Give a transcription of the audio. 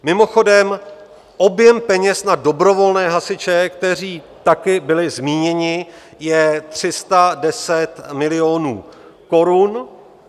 Mimochodem, objem peněz na dobrovolné hasiče, kteří taky byli zmíněni, je 310 milionů korun.